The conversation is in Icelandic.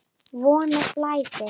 Von að það blæði!